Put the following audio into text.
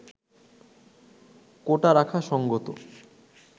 “কোটা রাখা সঙ্গত